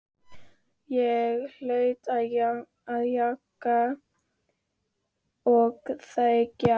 Ég hlaut að jánka og þegja.